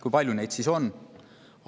Kui palju neid siis on?